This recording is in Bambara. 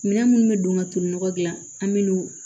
Minɛn minnu bɛ don ka tulu nɔgɔ dilan an bɛ n'u